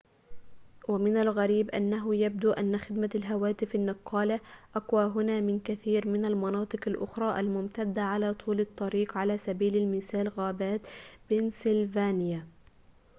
ومن الغريب أنه يبدو أن خدمة الهواتف النقالة أقوى هنا من كثير من المناطق الأخرى الممتدة على طول الطريق على سبيل المثال غابات بنسلفانيا